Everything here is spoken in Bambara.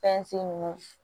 ninnu